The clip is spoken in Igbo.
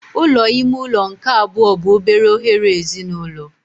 Ụlọ ime ụlọ nke abụọ bụ obere oghere ezinụlọ.